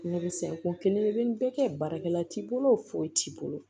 Ne bɛ se ko kelen bɛɛ kɛ baarakɛla t'i bolo foyi t'i bolo